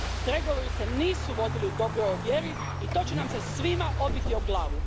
Pregovori se nisu vodili u dobroj vjeri i to će nam se svima obiti o glavu.